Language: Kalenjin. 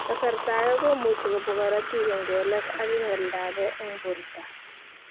Kasarta age komuche kobwa korotik en kelek ag oldo age en porto.